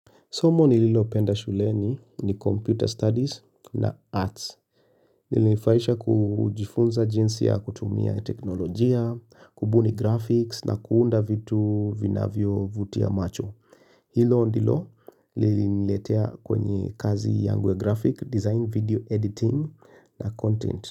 Somo nililopenda shuleni ni Computer Studies na Arts. Nilifahisha kujifunza jinsi ya kutumia teknolojia, kubuni graphics na kuunda vitu vinavyovutia macho. Hilo ndilo liliniletea kwenye kazi yangu ya graphic design video Editing na content.